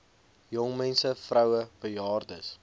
jongmense vroue bejaardes